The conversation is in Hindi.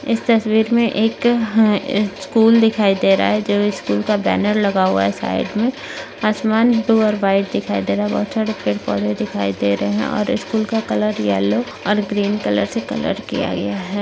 इस तस्वीर मे एक हा स्कूल दिखाई दे रहा है जो इस स्कूल का बैनर लगा हुआ है साइड मे आसमान ब्लू और व्हाइट दिखाई दे रहा बहुत सारे पेड़ पौधे दिखाई दे रहे है और ईस्कूल का कलर येल्लो और ग्रीन कलर से कलर किया गया है।